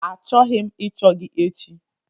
Achọghị m ịchọ gị echi!